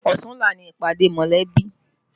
Ọ̀tunla ni ìpàdé mọ̀lẹ́bí